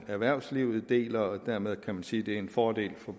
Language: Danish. erhvervslivet deler dermed kan man sige at det er en fordel for